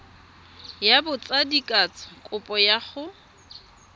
ya botsadikatsho kopo ya go